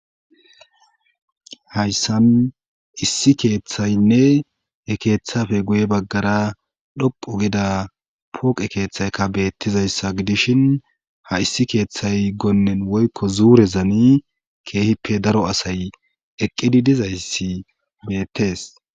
hayssan issi keeththaynne ekeeththafe guye baggara dhoqo gida pooqe keeththayka beettizayssa gidishin ha issi keeththay gonnen woykko zuurezani keehippe daro asay eqqidi dizayssi beettes